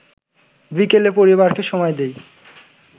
বিকেলে পরিবারকে সময় দেই